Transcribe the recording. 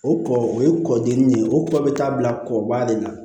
O kɔ o ye kɔkɔ dimi de ye o kɔ bɛ taa bila kɔbali la